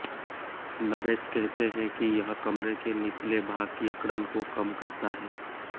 नरेश कहते हैं कि यह कमरे के निचले भाग की अकड़न को कम करता है